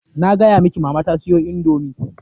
Na gaya miki mama ta siyo indomii.